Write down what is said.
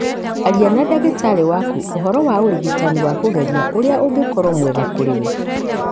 Aria na ndagĩtarĩ waku ũhoro wa ũrigitani wa kũgerio ũrĩa ũngĩkorũo mwega kũrĩ we.